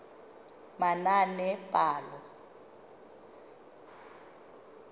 manaanepalo